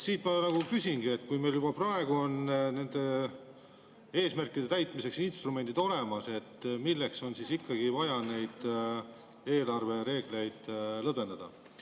Ma küsingi: kui meil juba praegu on nende eesmärkide täitmiseks instrumendid olemas, siis milleks on ikkagi vaja neid eelarvereegleid lõdvendada?